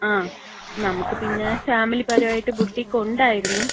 ങ്ങാ. നമുക്ക് പിന്നെ ഫാമിലിപരായിട്ട് ബുട്ടീഖ് ഒണ്ടായിരുന്നു.